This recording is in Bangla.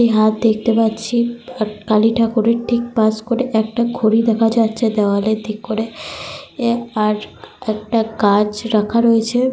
একটা হাত দেখতে পাচ্ছি। কালীঠাকুরের ঠিক পাশ করে একটা ঘড়ি দেখা যাচ্ছে দেওয়ালের দিক করে। আর একটা গাছ রাখা রয়েছে।